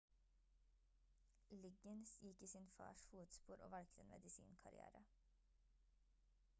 liggins gikk i sin fars fotspor og valgte en medisinkarriere